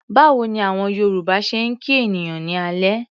Báwo ni àwọn Yorùbá ṣe ń kí ènìyàn ní alẹ́?